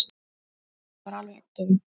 Emil var alveg agndofa.